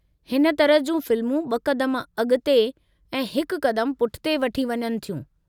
हिन तरह जूं फ़िल्मूं ब॒ क़दम अॻु ते ऐं हिकु क़दमु पुठिते वठी वञनि थियूं।